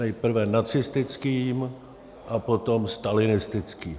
Nejprve nacistickým a potom stalinistickým.